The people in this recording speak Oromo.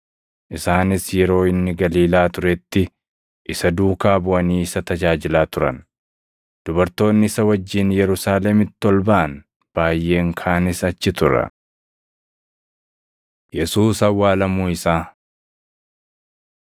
Isaanis yeroo inni Galiilaa turetti isa duukaa buʼanii isa tajaajilaa turan. Dubartoonni isa wajjin Yerusaalemitti ol baʼan baayʼeen kaanis achi turan. Yesuus Awwaalamuu Isaa 15:42‑47 kwf – Mat 27:57‑61; Luq 23:50‑56; Yoh 19:38‑42